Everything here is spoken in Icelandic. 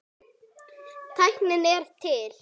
Tæknin er til.